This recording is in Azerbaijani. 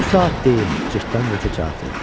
Bu saat deyim, cırtdan qoca cavab verir.